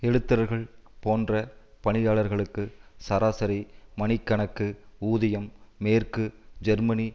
எழுத்தர்கள் போன்ற பணியாளர்களுக்கு சராசரி மணிக்கணக்கு ஊதியம் மேற்கு ஜெர்மனி